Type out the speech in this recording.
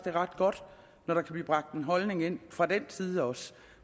er ret godt når der kan blive bragt en holdning ind fra den side også